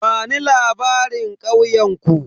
Bani labarin ƙauyen ku?